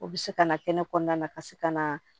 O bɛ se ka na kɛnɛ kɔnɔna na ka se ka na